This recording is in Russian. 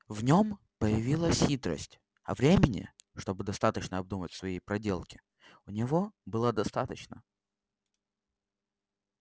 в нём появилась хитрость а времени чтобы достаточно обдумать свои проделки у него было достаточно